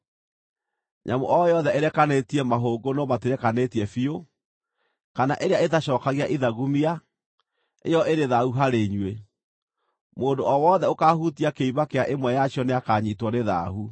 “ ‘Nyamũ o yothe ĩrekanĩtie mahũngũ no matirekanĩtie biũ, kana ĩrĩa ĩtacookagia ithagumia, ĩyo ĩrĩ thaahu harĩ inyuĩ; mũndũ o wothe ũkaahutia kĩimba kĩa ĩmwe yacio nĩakanyiitwo nĩ thaahu.